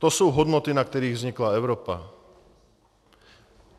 To jsou hodnoty, na kterých vznikla Evropa.